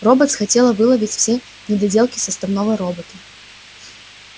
роботс хотела выловить все недоделки составного робота